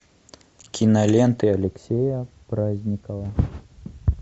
киноленты алексея праздникова